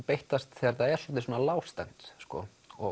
beittast þegar það hélt sér svona lágstemmt og